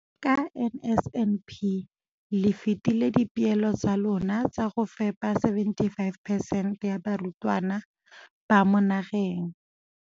Ka NSNP le fetile dipeelo tsa lona tsa go fepa masome a supa le botlhano a diperesente ya barutwana ba mo nageng.